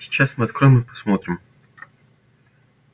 сейчас мы откроем и посмотрим